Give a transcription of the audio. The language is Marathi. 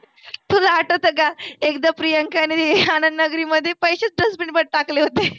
तुला आठवत का एकदा प्रियंकाने आनंद नगरीमध्ये पैसेच dustbin मध्ये टाकले होते.